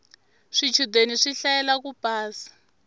swichudeni swi hlayela ku pasa